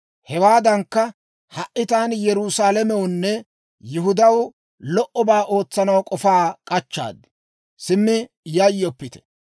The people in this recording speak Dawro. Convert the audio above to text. hewaadankka ha"i taani Yerusaalamewunne Yihudaw lo"obaa ootsanaw k'ofaa k'achchaad. Simmi yayyoppite!